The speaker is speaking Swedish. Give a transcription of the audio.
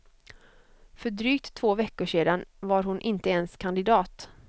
För drygt två veckor sedan var hon inte ens kandidat.